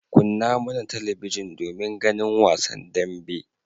Kunna mana talabijin domin ganin wasan dambe.